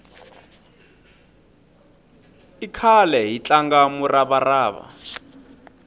i khale hi tlanga murava rava